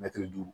Mɛtiri duuru